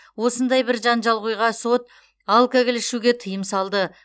осындай бір жанжалқойға сот алкоголь ішуге тыйым салды